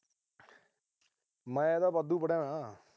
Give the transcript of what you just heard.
ਮੈਂ ਤਾਂ ਵਾਧੂ ਪੜ੍ਹਿਆ ਹੋਇਆ।